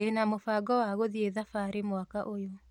Ndĩna mũbango wa gũthiĩ thabarĩ mwaka ũyũ